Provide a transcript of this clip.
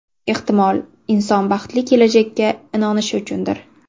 Ehtimol, inson baxtli kelajakka inonishi uchundir.